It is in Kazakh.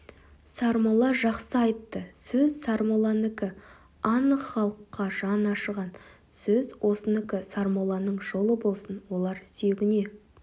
сармолла жақсы айтты сөз сармолланікі анық халыққа жаны ашыған сөз осынікі сармолланың жолы болсын олар сүйегіне